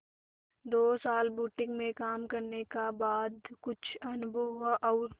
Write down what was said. दो साल बुटीक में काम करने का बाद कुछ अनुभव हुआ और